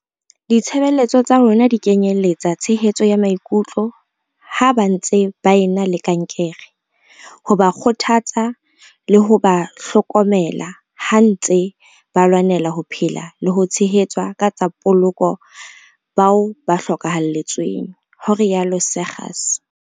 "Ditshebeletso tsa rona di kenyeletsa tshehetso ya maikutlo ha ba ntse ba e na le kankere, ho ba kgothatsa, le ho ba hloko mela ha ntswe ba lwanela ho phela le ho tshehetsa ka tsa poloko bao ba hloka halletsweng," ho rialo Seegers.